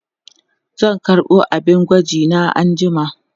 zan karɓo abin gwaji na anjima